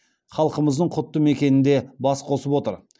халқымыздың құтты мекенінде бас қосып отыр